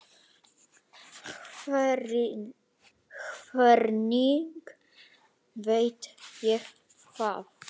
Hvernig veit ég það?